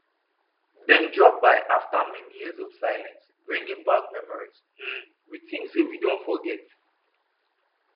dem drop by after many years of silence bringing back memories um we think say we don forget